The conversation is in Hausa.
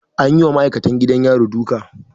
An yi wa ma'aikacin gidan yari duka.